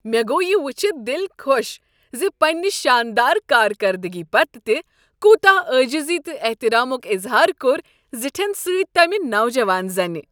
مےٚ گوٚو یہ ؤچھتھ دل خۄش ز پنٛنہ شاندار کارکردگی پتہٕ تہ کوتاہ عاجزی تہٕ احترامک اظہار کوٚر زٹھین سۭتۍ تمہ نوجوان زنہ۔